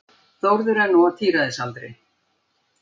Þórður er nú á tíræðisaldri.